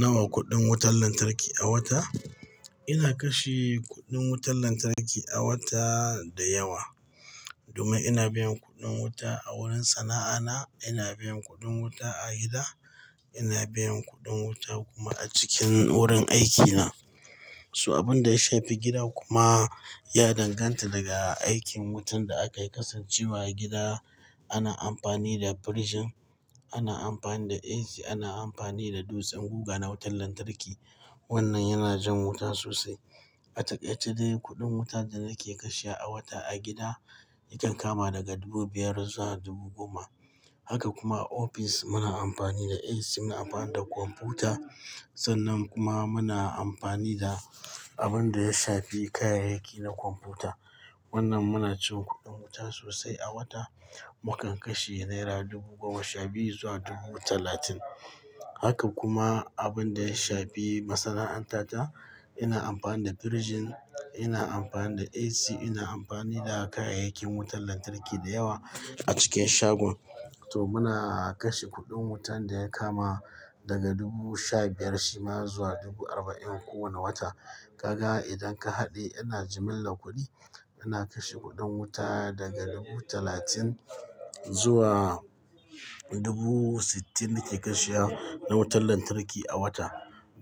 Nawa kuɗin wutar lantarki a wata? Ina kashe kuɗin wutar lantarki a wata da yawa. Domin ina biyan kuɗin wuta a wurin sana'ana, ina biyan kuɗin wuta a gida, ina biyan kuɗin wuta kuma a cikin wurin aikina. To abin da ya shafi gida kuma ya danganta daga aikin wutan da aka kasance wa gida. Ana amfani da firinji, ana amfani da AC, ana amfani da dutsen guga na wutar lantarki. Wannan yana jan wuta sosai. A takaice dai kuɗin wuta da nake kashe a wata a gida yakan kama daga dubu biyar zuwa dubu goma. Haka kuma a ofis muna amfani da AC, muna amfani da kwamfuta. Sannan kuma muna amfani da abin da ya shafi kayayyaki na kwamfuta. Wannan muna cin kuɗin wuta sosai a wata. Mu kan kashe naira dubu goma sha biyu zuwa dubu talatin. Haka kuma abin da ya shafi masana'antar ta, ina amfani da firinji, ina amfani da AC, ina amfani da kayayyakin wutar lantarki da yawa a cikin shagon. To muna kashe kuɗin wutan da ya kama daga dubu sha biyar shima zuwa dubu arba'in kowane wata. Kaga idan ka haɗe ana jimilla kuɗi, ana kashe kuɗin wuta daga dubu talatin zuwa dubu sittin nake kashe na wutar lantarki a wata.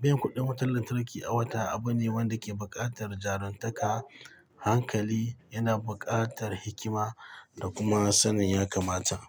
Kaga idan ka haɗe ana jimilla kuɗi, ana kashe kuɗin wuta daga dubu talatin zuwa dubu sittin nake kashe na wutar lantarki a wata.